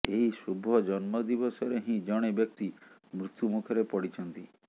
ଏହି ଶୁଭ ଜନ୍ମଦିବସରେ ହିଁ ଜଣେ ବ୍ୟକ୍ତି ମୃତ୍ୟୁମୁଖରେ ପଡ଼ିଛନ୍ତି